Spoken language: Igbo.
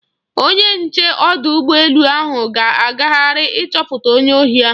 Onye nche ọdụ ụgbọ elu ahụ ga-agagharị ịchọpụta onye ohi ahụ.